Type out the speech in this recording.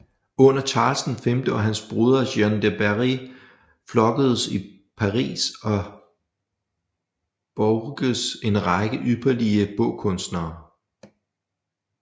Under Charles V og hans broder Jean de Berry flokkes i Paris og Bourges en række ypperlige bogkunstnere